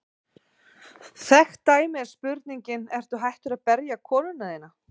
Þekkt dæmi er spurningin: Ertu hættur að berja konuna þína?